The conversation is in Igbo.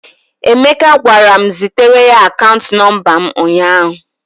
Emeka gwara m zitere ya akaant nọmba m ụnyahụ.